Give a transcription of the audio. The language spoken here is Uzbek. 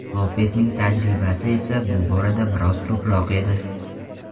Lopesning tajribasi esa bu borada biroz ko‘proq edi.